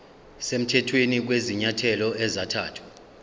semthethweni kwezinyathelo ezathathwa